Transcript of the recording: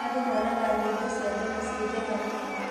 Andũ monaga nyimbo cia tene cii njega nĩkĩ?